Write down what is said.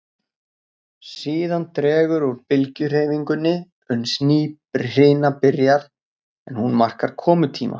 Síðan dregur úr bylgjuhreyfingunni uns ný hrina byrjar, en hún markar komutíma